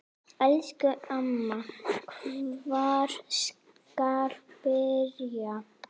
Elsku amma, hvar skal byrja?